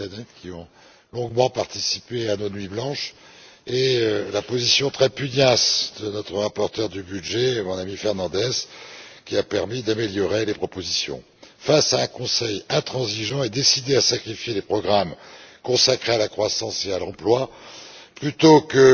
Katainen, qui ont longuement participé à nos nuits blanches, et saluer la position très pugnace de notre rapporteur du budget, mon ami José Manuel Fernandes, qui a permis d'améliorer les propositions, face à un Conseil intransigeant et décidé à sacrifier les programmes consacrés à la croissance et à l'emploi, plutôt que